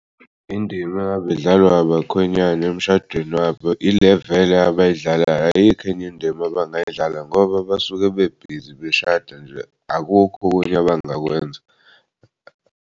Indima engab'dlalwa ngabakhwenyana emshadweni yabo ile vele abay'dlalayo ayikho enye indima abangayidlala ngoba basuke bebhizi beshada nje akukho okunye abangakwenza.